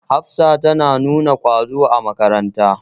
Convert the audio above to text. Hafsa ta nuna ƙwazo a makaranta.